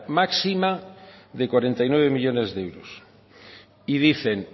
máxima de cuarenta y nueve millónes de euros y dicen